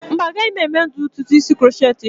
Mba, agaghị m eme ụdị ntutu isi crochet echi.